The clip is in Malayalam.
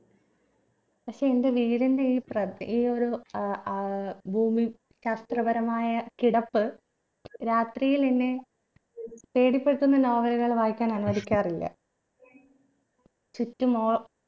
പക്ഷെ എന്റെ വീടിന്റെ ഈ പ്രത്യേക ഒരു ഏർ ഭൂമി ശാസ്ത്രപരമായ കിടപ്പ് രാത്രിയിലെന്നെ പേടിപ്പെടുത്തുന്ന novel കൾ വായിക്കാൻ അനുവദിക്കാറില്ല ചുറ്റും ഓ